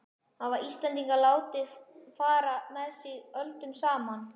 Íslendingar hafa látið fara með sig öldum saman.